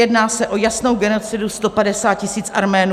Jedná se o jasnou genocidu 150 tisíc Arménů.